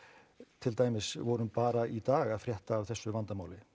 til dæmis vorum bara í dag að frétta af þessu vandamáli